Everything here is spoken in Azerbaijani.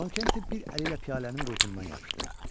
Con Kent bir əli ilə piyalənin qulpundan yapışdı.